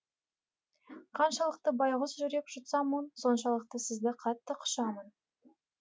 қаншалықты байғұс жүрек жұтса мұң соншалықты сізді қатты құшамын